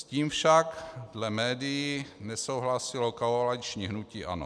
S tím však dle médií nesouhlasilo koaliční hnutí ANO.